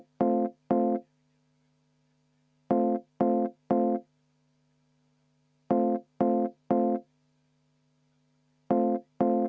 Helir-Valdor Seeder, palun!